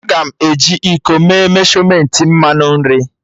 Aga m eji iko mee meshọmentị mmanụ nri